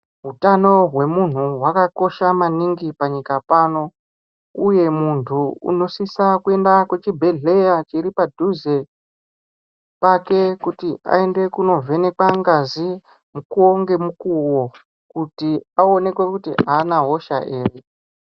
Utano hwemunhu hwakakosha maningi panyika pano uye munhu unosise kuenda pachibhehleya chiri padhuze pake kuti aende kunovhenekwa ngazi mukuwo ngemukuwo kuti aonekwe kuti haana hosha ere.